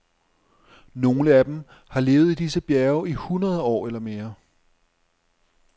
Nogle af dem har levet i disse bjerge i hundrede år eller mere.